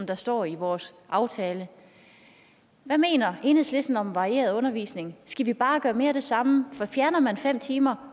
der står i vores aftale hvad mener enhedslisten om varieret undervisning skal vi bare gøre mere af det samme for fjerner man fem timer